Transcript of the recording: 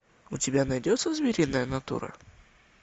у тебя найдется звериная натура